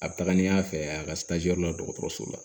A bɛ taga ni y'a fɛ a ka la dɔgɔtɔrɔso la